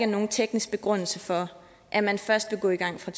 nogen teknisk begrundelse for at man først vil gå i gang fra